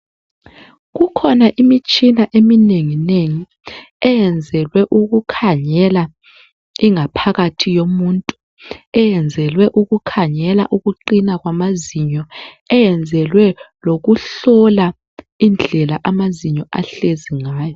Kukhona imitshina eminengi eyenzelwe ukukhangela ingaphakathi yomuntu, eyenzelwe ukuqina kwamazinyo, eyenzelwe ukuhlola indlela amazinyo ahlezi ngayo.